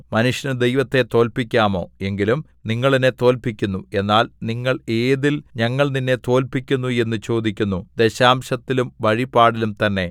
മനുഷ്യന് ദൈവത്തെ തോല്പ്പിക്കാമോ എങ്കിലും നിങ്ങൾ എന്നെ തോൽപിക്കുന്നു എന്നാൽ നിങ്ങൾ ഏതിൽ ഞങ്ങൾ നിന്നെ തോൽപിക്കുന്നു എന്നു ചോദിക്കുന്നു ദശാംശത്തിലും വഴിപാടിലും തന്നെ